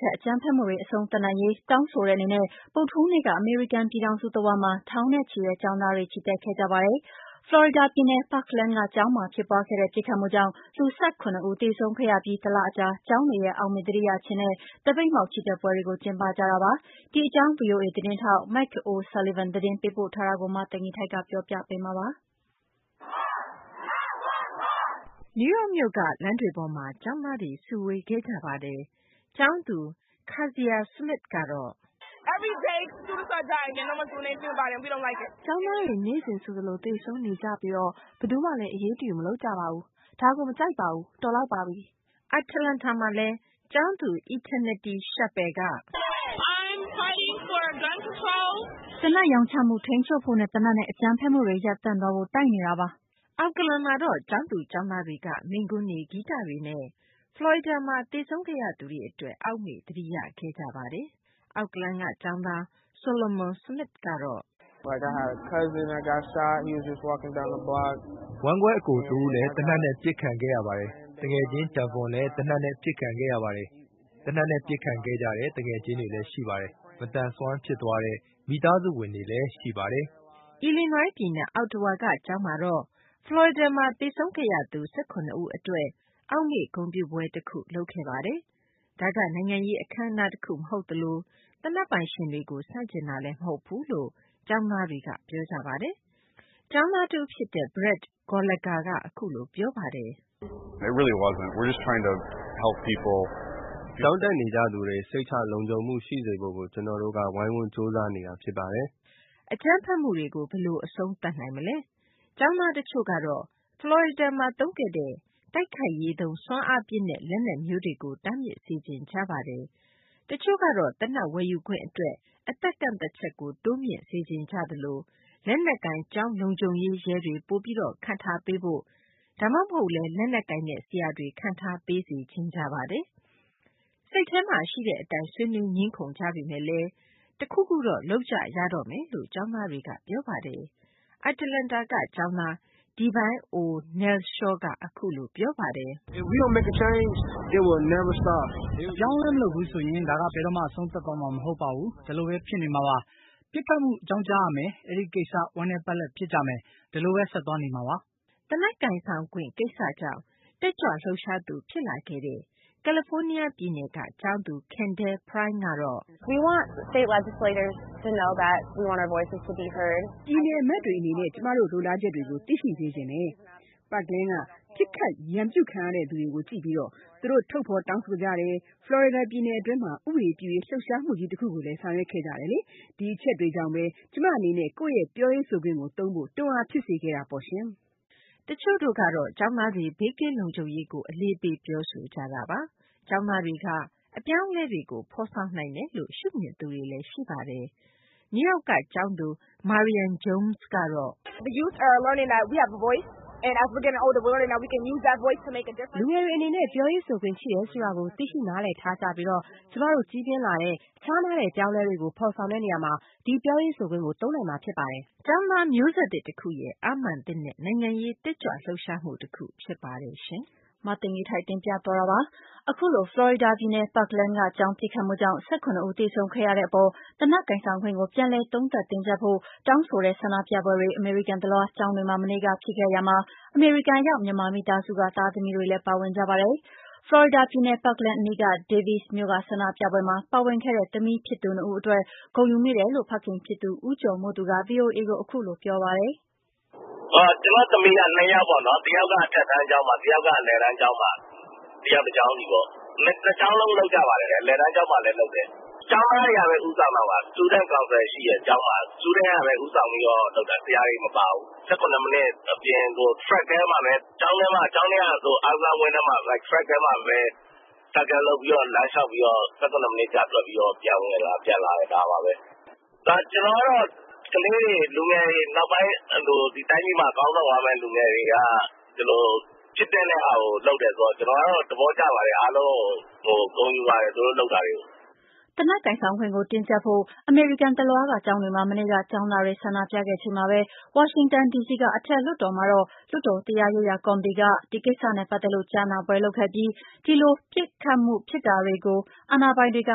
ခတ် အကြမ်းဖက်မှုတွေ အဆုံးသတ်နိုင်ရေး တောင်းဆိုတဲ့ အနေနဲ့ ဗုဒ္ဓဟူးနေ့က အမေရိကန် ပြည်ထောင်စု တဝန်းမှာ ထောင်နဲ့ချီတဲ့ ကျောင်းသားတွေ ချီတက်ခဲ့ကြပါတယ်။ ဖလော်ရီဒါ ပြည်နယ် Parkland က ကျောင်းမှာ ပစ်ခတ်မှုကြောင့် လူ ၁၇ ဦး သေဆုံးခဲ့ရမှု အပြီး တလ အကြာ ကျောင်းတွေရဲ့ အောက်မေ့ သတိရခြင်းနဲ့ သပိတ်မှောက် ချီတက်ပွဲတွေကို ဗွီအိုအေ သတင်းထောက် Mike O’Sullivan က သတင်းပေးပို့ထားပါတယ်။ မသိဂီ ၤထိုက် ပြောပြပေးမှာပါ။ နယူးယောက်မြို့က လမ်းတွေပေါ်မှာ ကျောင်းသားတွေ စုဝေးခဲ့ကြပါတယ်။ ကျောင်းသူ Keziya Smith ကတော့ "ကျောင်းသားတွေ နေ့စဉ်ဆိုသလို သေဆုံးနေကြပြီး ဘယ်သူမှလည်း အရေးတယူ မလုပ်ကြပါဘူး။ ဒါကို မကြိုက်ပါဘူး။ တော်လောက်ပါပြီ။" အတ္တလန္တာမှာလည်း… ကျောင်းသူ Eternity Chappel က "သေနတ် ရောင်းချမှု ထိန်းချုပ်ဖို့နဲ့ သေနတ်နဲ့ အကြမ်းဖက်မှုတွေ ရပ်တန့်သွားဖို့ တိုက်နေတာပါ။" Oakland မှာတော့ ကျောင်းသူ ကျောင်းသားတွေက မိန့်ခွန်းတွေ၊ ဂီတတွေနဲ့ ဖလော်ရီဒါမှာ သေဆုံးခဲ့ရသူတွေ အတွက် အောက်မေ့သတိရခဲ့ကြပါတယ်။ Oakland က ကျောင်းသား Solomon Smith ကတော့ "ဝမ်းကွဲ အကို တဦးလည်း သေနတ်နဲ့ ပစ်ခံခဲ့ရပါတယ်။ သူက လမ်းလျှောက် သွားခဲ့တာပါ။ သူငယ်ချင်း Davon လည်း သေနတ်နဲ့ ပစ်ခံခဲ့ရပါတယ်။ သူ့အကြောင်း ပြောခဲ့ဆိုခဲ့ကြပါတယ်။ သေနတ်နဲ့ ပစ်ခံခဲ့ရတဲ့ သူငယ်ချင်းတွေလည်း ရှိပါတယ်။ မသန်စွမ်းဖြစ်သွားတဲ့ မိသားစုဝင်တွေလည်း ရှိပါတယ်။" Illinois ပြည်နယ် Ottawa က ကျောင်းမှာတော့ ဖလော်ရီဒါမှာ သေဆုံးခဲ့ရသူ ၁၇ ဦး အတွက် အောက်မေ့ ဂုဏ်ပြုပွဲတခုကို လုပ်ခဲ့ပါတယ်။ ဒါက နိုင်ငံရေး အခမ်းအနား တခု မဟုတ်သလို သေနတ်ပိုင်ရှင်တွေကို ဆန့်ကျင်တာလည်း မဟုတ်ဘူးလို့ ကျောငးသားတွေက ပြောကြပါတယ်။ ကျောင်းသား တဦး ဖြစ်တဲ့ Brett Gallagher က အခုလို ပြောပါတယ်။ "ကျောင်းတက်နေကြသူတွေ စိတ်ချလုံခြုံမှု ရှိစေဖို့ကို ကျနော်တို့က ဝိုင်းဝန်း ကြိုးစားနေတာ ဖြစ်ပါတယ်။" အကြမ်းဖက်မှုတွေကို ဘယ်လို အဆုံးသတ်နိုင်မလဲ။ ကျောင်းသား တချို့ကတော့ ဖလော်ရီဒါမှာ သုံးခဲ့တဲ့ တိုက်ခိုက်ရေးသုံး စွမ်းအားပြင်းတဲ့ လက်နက်မျိုးတွေကို တားမြစ်စေချင်ကြပါတယ်။ တချို့ကတော့ သေနတ် ဝယ်ယူခွင့် အတွက် အသက်ကန့်သတ်ချက်ကို တိုးမြှင့်စေချင်ကြသလို လက်နက်ကိုင် ကျောင်းလုံခြုံရေး ရဲတွေ ပိုပြီး ခန့်ထားပေးဖို့ ဒါမှမဟုတ်လည်း လက်နက်ကိုင်တဲ့ ဆရာတွေ ခန့်ထားပေးစေချင်ကြပါတယ်။ စိတ်ထဲမှာ ရှိတဲ့ အတိုင်း ဆွေးနွေး ငြင်းခုံနေကြပေမယ့်လည်း တခုခုတော့ လုပ်ကြရမယ်လို့ ကျောင်းသားတွေက ပြောဆိုကြပါတယ်။ အတ္တလန္တာက ကျောင်းသား Devin O. Nealshaw ကတော့ "အပြောင်းအလဲ မလုပ်ဘူးဆိုရင် ဒါက ဘယ်တော့မှ အဆုံးသတ်သွားမှာ မဟုတ်ပါဘူး။ ဒီလိုဘဲ ဖြစ်နေမှာပါ။ ပစ်ခတ်မှု အကြောင်းကြားရမယ်၊ အဲဒီကိစ္စ ဝမ်းနည်းပက်လက် ဖြစ်ကြမယ်၊ ဒီလိုဘဲ ဆက်သွားနေမှာပါဘဲ။" သေနတ် ကိုင်ဆောင်ခွင့် ကိစ္စကြောင့် တက်ကြွလှုပ်ရှားသူ ဖြစ်လာခဲ့တဲ့ ကယ်လီဖိုးနီးယား ပြည်နယ်က ကျောင်းသူ Kendall Prime ကတော့ "ပြည်နယ် အမတ်တွေ အနေနဲ့ ကျမတို့ လိုလားချက်တွေကို သိရှိစေချင်တယ်။ Parkland က ပစ်ခတ် ရန်မူခံရသူတွေကို ကြည့်ပြီး သူတို့ ထုတ်ဖော် တောင်းဆိုကြတယ်၊ ဖလော်ရီဒါ ပြည်နယ်တွင်းမှာ ဥပဒေပြုရေး လှုပ်ရှားမှုကြီး တခုကို ဆောင်ရွက်ခဲ့ကြတယ်။ ဒီအချက်ကြောင့်ဘဲ ကျမ အနေနဲ့ ကိုယ့်ရဲ့ ပြောရေးဆိုခွင့်ကို သုံးဖို့ တွန်းအားဖြစ်စေခဲ့တာပါ။" တချို့ကတော့ ကျောင်းသားတွေ ဘေးကင်းလုံခြုံရေးကို အလေးပေးပြောဆိုကြတာပါ။ ကျောင်းသားတွေက အပြောင်းအလဲတွေကို ဖော်ဆော်နိုင်တယ်လို့ ရှုမြင်ကြသူတွေလည်း ရှိပါတယ်။ နယူးယောက်က ကျောင်းသူ Marian Jones ကတော့ "လူငယ်တွေ အနေနဲ့ ပြောခွင့်ဆိုခွင့် ရှိတယ်ဆိုတာကို သိရှိနားလည်ထားကြပြီး ကျမတို့ ကြီးပြင်းလာတဲ့ခြားနားတဲ့ အပြောင်းအလဲတွေကို ဖော်ဆောင်တဲ့ နေရာမှာ ဒီပြောရေးဆိုခွင့်ကို သုံးနိုင်မှာ ဖြစ်ပါတယ်။" ကျောင်းသား မျိုးဆက်သစ် တခုရဲ့ အားမာန်သစ်နဲ့ နိုင်ငံရေး တက်ကြွလှုပ်ရှားမှုလည်း ဖြစ်ပါတယ်။ အခုလို ဖလော်ရီဒါပြည်နယ် Parkland ကျောင်းပစ်ခတ်မှုကြောင့် ၁၇ ဦးသေဆုံး ခဲ့ရတဲ့အပေါ်၊ သေနက်ကိုင်ဆောင်ခွင့်ကို ပြန်လည်သုံးသပ်တင်းကြပ်ဖို့ တောင်းဆိုတဲ့ ဆန္ဒပြပွဲတွေ အမေရိကန်တလွှား ကျောင်းတွေမှာ မနေ့က ဖြစ်ခဲ့ရာမှာ ၊ အမေရိကန်ရောက် မြန်မာမိသားစုက သားသမီးတွေလည်း ပါဝင်ကြပါတယ်။ ဖလော်ရီဒါပြည်နယ် Parkland အနီးက Davies မြို့က ဆန္ဒပြပွဲတွေမှာ ပါဝင်ခဲ့တဲ့ သမီးဖြစ်သူနှစ်ဦး အတွက် ဂုဏ်ယူမိတယ်လို့ ဖခင်ဖြစ်သူ ဦးကျော်မိုးသူက ဗွီအိုအေကို အခုလို ပြောပါတယ်။ "ကျနော်သမီးက နှစ်ယောက်ပေါ့နော်။ တယောက်က တက္ကသိုလ်မှာ တယောက်က အလယ်တန်းကျောင်းမှာ တစ်ယောက် တစ်ကျောင်းစီပေါ့။ ကျောင်းတွေမှာ လုပ်တာ အလယ်တန်းကျောင်းမှာလည်း လုပ်ပါတယ်။ ကျောင်းသားတွေက ဦးဆောင်တာပါ။ ဆရာတွေမပါဘူး။ ကျောင်းထဲက အားကစားဝင်းထဲမှာပဲ လမ်းလျှောက်ပြီးတော့ ၁၇မိနစ်ကြာ ပြပြီးတော့ ပြန်ဝင်လာကြတယ် ဒါပါပဲ။ ကျနော်ကတော့ ကျောင်းသားတွေ ကလေးတွေ ဒီတိုင်းပြည်မှာ ခေါင်းဆောင်ရမယ့်သူ လူငယ်တွေက ဒီလိုဖြစ်သင့်တဲ့ဟာကို လုပ်တာဆိုတော့ ကျနော်ကတော့ သဘောကျပါတယ် အားလုံးကို ဂုဏ်ယူပါတယ် သူတို့လုပ်တာတွေကို။" သေနတ်ကိုင်ဆောင်ခွင့်ကို တင်းကြပ်ဖို့ အမေရိကန်တလွှားက ကျောင်းတွေမှာ မနေ့က ကျောင်းသားတွေ ဆန္ဒပြခဲ့ချိန်မှာပဲ၊ ဝါရှင်တန်ဒီစီက အထက်လွှတ်တော်မှာတော့ လွှတ်တော်တရားရေးကော်မတီက ဒီကိစ္စနဲ့ပတ်သက်လို့ ကြားနာပွဲလုပ်ခဲ့ပြီး ဒီလို ပစ်မခတ်မှုဖြစ်တာတွေကို အာဏာပိုင်တွေက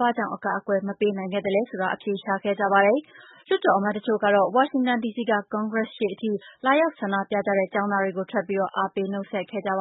ဘာကြောင့် အကာအကွယ် မပေးနိုင်ခဲ့သလဲဆိုတာ အဖြေရှာခဲ့ကြပါတယ်။ လွှတ်တော် အမတ်အချို့ကတော့ ဝါရှင်တန်ဒီစီက ကွန်ဂရက်ရှေ့အထိ လာရောက်ဆန္ဒပြကြတဲ့ ကျောင်းသားတွေကို ထွက်ပြီး အားပေးနှုတ်ဆက်ခဲ့ကြပါ